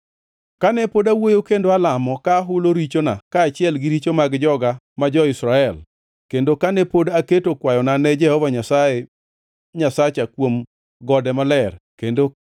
Kane pod awuoyo kendo alamo, ka ahulo richona kaachiel gi richo mag joga ma jo-Israel, kendo kane pod aketo kwayona ne Jehova Nyasaye Nyasacha kuom gode maler, kendo